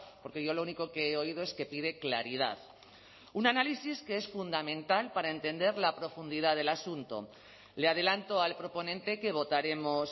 porque yo lo único que he oído es que pide claridad un análisis que es fundamental para entender la profundidad del asunto le adelanto al proponente que votaremos